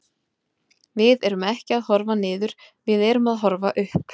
Við erum ekki að horfa niður, við erum að horfa upp.